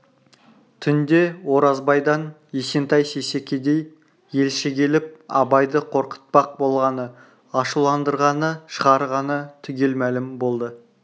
түнде оразбайдан есентай сейсекедей елші келіп абайды қорқытпақ болғаны ашуландырғаны шығарғаны түгел мәлім болды